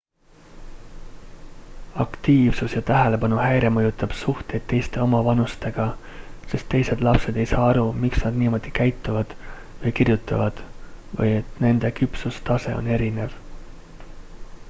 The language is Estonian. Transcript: aktiivsus ja tähelepanuhäire mõjutab suhteid teiste omavanustega sest teised lapsed ei saa aru miks nad niimoodi käituvad või kirjutavad või et nende küpsustase on erinev